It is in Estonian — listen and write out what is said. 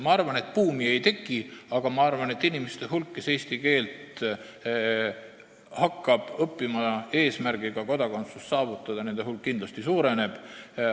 Ma arvan, et buumi ei teki, aga kindlasti suureneb nende inimeste hulk, kes hakkavad eesti keelt õppima eesmärgiga saavutada kodakondsus.